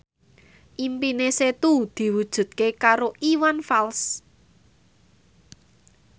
impine Setu diwujudke karo Iwan Fals